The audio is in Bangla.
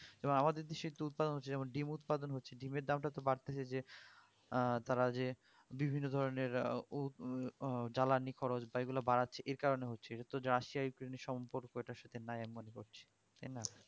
এবার আমাদের দেশে একটু উৎপাদন হচ্ছে যেমন ডিম্ উৎপাদন হচ্ছে দিমের দামটা তো বাড়তেসে যে আহ তারা যে বিভিন্ন ধরণের উহ জ্বালানি খরচ বা এগুলা বাড়াচ্ছে এর কারণে হচ্ছে এগুলো রাশিয়া ইউক্রেইন্ সম্পর্ক নাই এর মধ্যে তাইনা